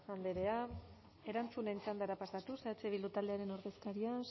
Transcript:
andrea erantzunen txandara pasatuz eh bildu taldearen ordezkaria